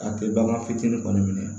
A tɛ bagan fitinin kɔni minɛ